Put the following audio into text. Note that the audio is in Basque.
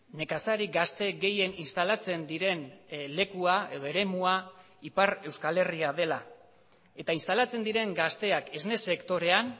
nekazari gazte gehien instalatzen diren lekua edo eremua ipar euskal herria dela eta instalatzen diren gazteak esne sektorean